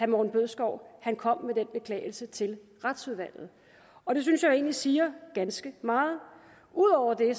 morten bødskov kom med den beklagelse til retsudvalget og det synes jeg egentlig siger ganske meget ud over det